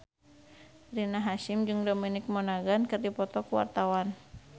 Rina Hasyim jeung Dominic Monaghan keur dipoto ku wartawan